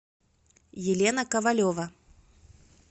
елена ковалева